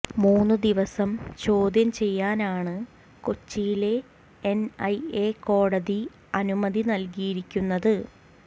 മൂന്നു ദിവസം ചോദ്യം ചെയ്യാനാണ് കൊച്ചിയിലെ എന് ഐ എ കോടതി അനുമതി നല്കിയിരിക്കുന്നത്